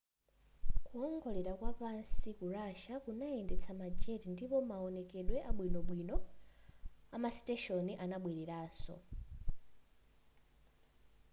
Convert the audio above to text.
kuwongolera kwapansi ku russia kunayendetsa ma jet ndipo maonekedwe abwinobwino amasiteshoni anabweleranso